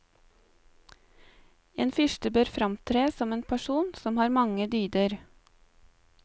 En fyrste bør framtre som en person som har mange dyder.